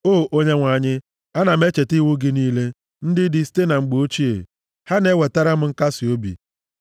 O Onyenwe anyị, ana m echeta iwu gị niile, ndị dị site na mgbe ochie, ha na-ewetara m nkasiobi.